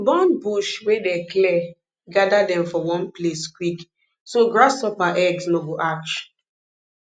burn bush wey dey clear gather dem for one place quick so grasshopper eggs no go hatch